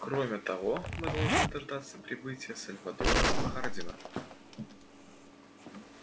кроме того мы должны дождаться прибытия сальводора хардина